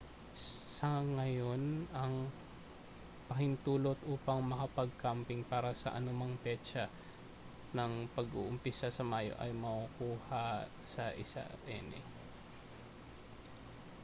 sa gayon ang pahintulot upang makapag-camping para sa anumang petsa ng pag-uumpisa sa mayo ay makukuha sa 1 ene